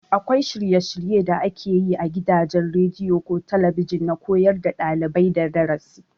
Akwai shirye- shirye da ake yi a gidajen rediyo ko talabijin na koyar da ɗalibai darasi.